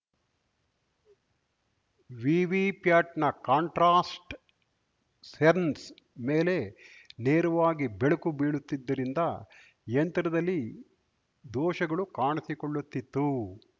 ವಿವಿಪ್ಯಾಟ್‌ನ contrast sensor ಮೇಲೆ ನೇರವಾಗಿ ಬೆಳಕು ಬೀಳುತ್ತಿದ್ದರಿಂದ ಯಂತ್ರದಲ್ಲಿ ದೋಷಗಳು ಕಾಣಿಸಿಕೊಳ್ಳುತಿತ್ತು